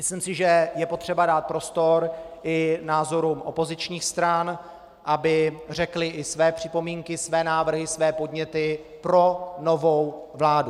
Myslím si, že je potřeba dát prostor i názorům opozičních stran, aby řekly i své připomínky, své návrhy, své podněty pro novou vládu.